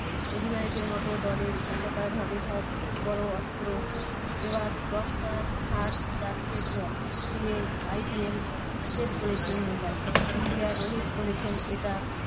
অধিনায়কের মতো দলের একতাভাবে সব বড় অস্ত্র এবার দশটা হার চারটের জয় দিয়ে IPL শেষ করেছে মুম্বাই ইন্ডিয়া। রোহিত বলেছেন এটা